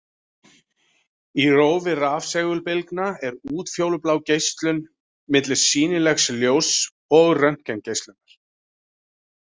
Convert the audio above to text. Í rófi rafsegulbylgna er útfjólublá geislun milli sýnilegs ljóss og röntgengeislunar.